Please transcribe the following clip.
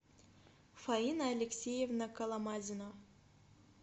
фаина алексеевна коломазина